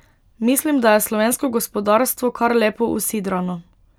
Mislim, da je slovensko gospodarstvo kar lepo usidrano.